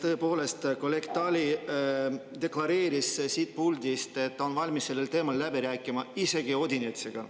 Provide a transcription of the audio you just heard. Tõepoolest, kolleeg Tali deklareeris siit puldist, et ta on valmis sellel teemal läbi rääkima isegi Odinetsiga.